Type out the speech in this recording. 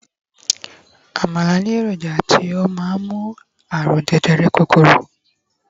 àmàlà ni eroja ti o ma n mu àrùn jẹjẹrẹ kúrò